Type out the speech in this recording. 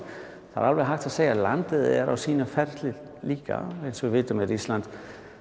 það er alveg hægt að segja að landið er á sínum ferli líka eins og við vitum með Ísland